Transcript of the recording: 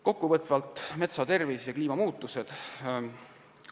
Kokkuvõtvalt metsa tervisest ja kliimamuutustest.